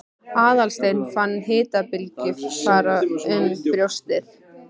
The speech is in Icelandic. Aðalsteinn fann hitabylgju fara um brjóstið.